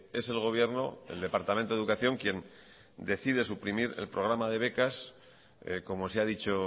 es el gobierno el departamento de educación quien decide suprimir el programa de becas como se ha dicho